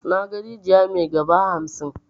Naga rijiya mai 'gaba' hamsin.